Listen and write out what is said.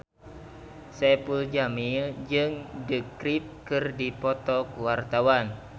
Saipul Jamil jeung The Script keur dipoto ku wartawan